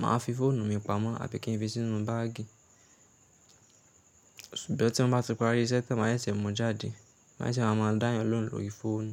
màá fi fóònù mi pamọ́ àbí kí n fi sínú báàgì. Ṣùgbọ́n tí mo bá ti parí iṣẹ́ tán màá ṣẹ̀ṣẹ̀ mú jáde, lẹ́sẹ̀ màá máa dá èèyàn lóhùn lórí fóònù.